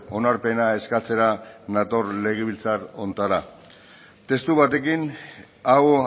onarpena eskatzera nator legebiltzar honetara testu batekin hau